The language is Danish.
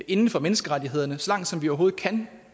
inden for menneskerettighederne så langt som vi overhovedet kan